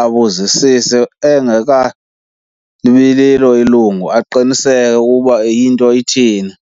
abuzisise engekabi lilo ilungu aqiniseke ukuba into ithini.